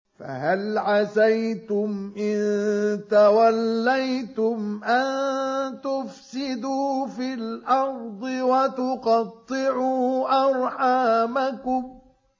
فَهَلْ عَسَيْتُمْ إِن تَوَلَّيْتُمْ أَن تُفْسِدُوا فِي الْأَرْضِ وَتُقَطِّعُوا أَرْحَامَكُمْ